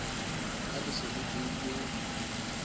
ha le se le beuwe